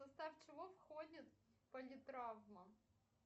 в состав чего входит политравма